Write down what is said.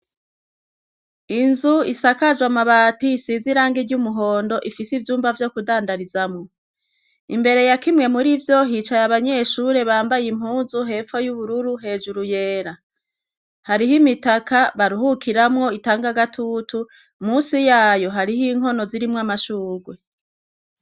Inzu isakajwe amabati isize irangi ry'umuhondo ifise ivyumba vyo kudandarizamwo. Imbere ya kimwe mur'ivyo, hicaye abanyeshure bambaye impunzu hepfo y'ubururu hejuru yera. Hariho imitaka baruhukiramwo itanga agatutu, munsi y'ayo hariho inkono zirimwo amashurwe.